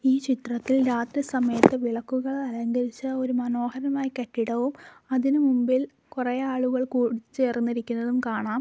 ഈ ചിത്രത്തിൽ രാത്രി സമയത്ത് വിളക്കുകൾ അലങ്കരിച്ച ഒരു മനോഹരമായ കെട്ടിടവും അതിനു മുമ്പിൽ കുറെ ആളുകൾ കൂടി ചേർന്നിരിക്കുന്നതും കാണാം.